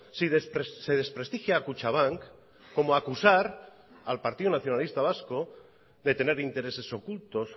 si se desprestigia a kutxabank como acusar al partido nacionalista vasco de tener intereses ocultos